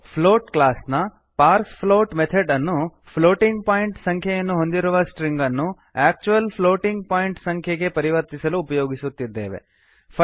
ನಾವು plot class ನ parse plot method ಅನ್ನು ಪ್ಲೋಟಿಂಗ್ ಪಾಯಿಂಟ್ ಸಂಖ್ಯೆಯನ್ನು ಹೊಂದಿರುವ ಸ್ಟ್ರಿಂಗನ್ನು ಆಕ್ಚುಅಲ್ ಪ್ಲೋಟಿಂಗ್ ಪಾಯಿಂಟ್ ಸಂಖ್ಯೆಗೆ ಪರಿವರ್ತಿಸಲು ಉಪಯೋಗಿಸುತ್ತಿದ್ದೇವೆ